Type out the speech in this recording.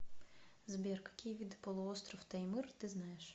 сбер какие виды полуостров таймыр ты знаешь